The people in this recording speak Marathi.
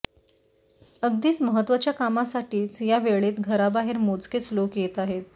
अगदीच महत्वाच्या कामासाठीच या वेळेत घराबाहेर मोजकेच लोक येत आहेत